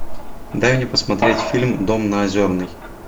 дай мне посмотреть фильм дом на озерной